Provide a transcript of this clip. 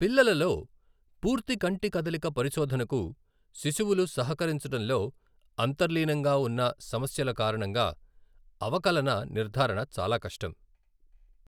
పిల్లలలో, పూర్తి కంటి కదలిక పరిశోధనకు శిశువులు సహకరించడంలో అంతర్లీనంగా ఉన్న సమస్యల కారణంగా అవకలన నిర్ధారణ చాలా కష్టం.